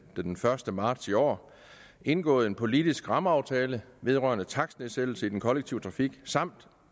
den første marts i år indgået en politisk rammeaftale vedrørende takstnedsættelser i den kollektive trafik samt